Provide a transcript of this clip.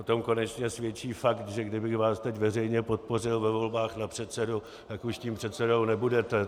O tom konečně svědčí fakt, že kdybych vás teď veřejně podpořil ve volbách na předsedu, tak už tím předsedou nebudete.